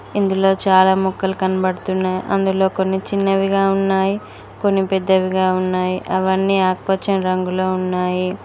ఇందులో చాలా మొక్కలు కనబడుతున్నాయి అందులో కొన్ని చిన్నవిగా ఉన్నాయి కొన్ని పెద్దవిగా ఉన్నాయి అవన్నీ ఆకుపచ్చని రంగులో ఉన్నాయి.